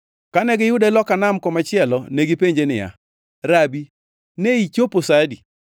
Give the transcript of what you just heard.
Kane giyude loka nam komachielo, negipenje niya, “Rabi, ne ichopo sa adi?”